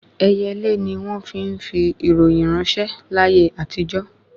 Ẹyẹlé ni wọ́n fi ń fi ìròyìn ráńṣẹ́ láyé àtijó